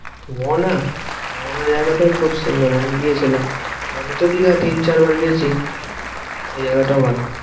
মোহনা? মোহনা জায়গাটাও খুব সুন্দর আমি গিয়েছিলাম। আমিতো দিঘা তিন চার বার গিয়েছি, ওই জায়গাটাও ভালো।